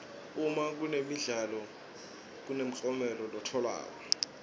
uma kunemidlalo kunemklomelo letfolwako